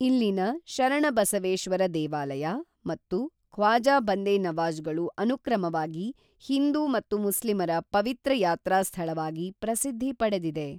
ಇಲ್ಲಿನ ಶರಣಬಸವೇಶ್ವರ ದೇವಾಲಯ ಮತ್ತು ಖ್ವಾಜಾ ಬಂದೇ ನವಾಜ್ಗಳು ಅನುಕ್ರಮವಾಗಿ ಹಿಂದೂ ಮತ್ತು ಮುಸ್ಲಿಮರ ಪವಿತ್ರ ಯಾತ್ರಾ ಸ್ಥಳವಾಗಿ ಪ್ರಸಿದ್ಧಿ ಪಡೆದಿದೆ